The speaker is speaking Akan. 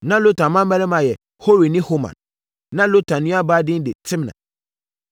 Na Lotan mmammarima yɛ Hori ne Homam. Na Lotan nuabaa din de Timna.